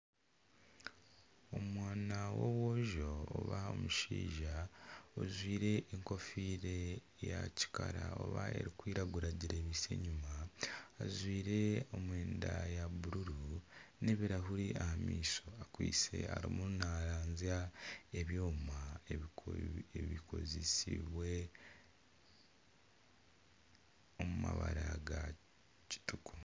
Omwana w'omwojo oba omushaija ojwire enkofiira ya kikara oba erikwiragura agirebiise enyuma ajwire emyenda ya bururu n'ebirahuri ah'amaisho akwaitse arimu naranzya ebyoma ebikozesibwe omu mabara ga kitugu.